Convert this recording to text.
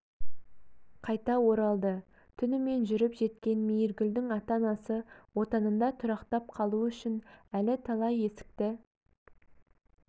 қайта оралды түнімен жүріп жеткен мейіргүлдің ата анасы отанында тұрақтап қалу үшін әлі талай есікті